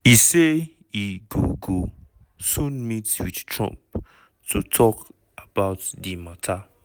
e say e go go soon meet wit trump to tok about di mata.